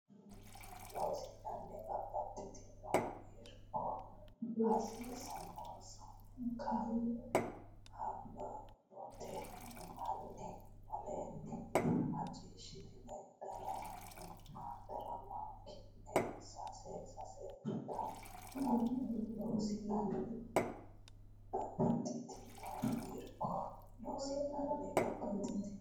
Loossinanni Babbaxxitino irko hasiissannonsa kaa habbooti hanni aleenni macciishshitini diraama ki ne sase sase Taqa Loossinanni Babbaxxitino irko Loossinanni Babbaxxitino.